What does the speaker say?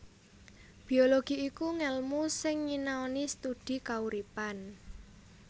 Biologi iku ngèlmu sing nyinaoni studi kauripan